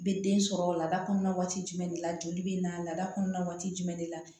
Bɛ den sɔrɔ laada kɔnɔna waati jumɛn de la joli bɛ na laada kɔnɔna waati jumɛn de la